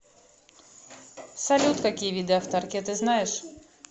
салют какие виды автаркия ты знаешь